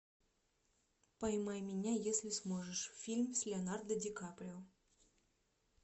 поймай меня если сможешь фильм с леонардо ди каприо